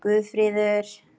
Guðfríður